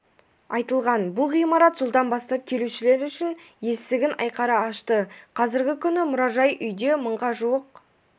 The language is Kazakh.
айтылған бұл ғимарат жылдан бастап келушілер үшін есігін айқара ашты қазіргі күні мұражай-үйде мыңға жуық